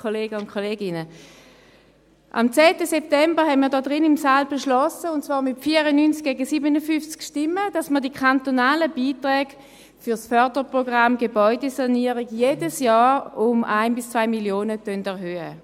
Am 10. September haben wir in diesem Saal beschlossen – und zwar mit 94 zu 57 Stimmen – die kantonalen Beiträge für das Förderprogramm Gebäudesanierung jedes Jahr um 1 bis 2 Mio. Franken zu erhöhen.